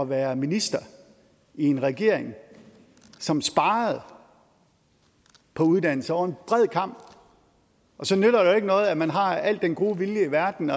være minister i en regering som sparede på uddannelse over en bred kam så nytter det jo ikke noget at man har al den gode vilje i verden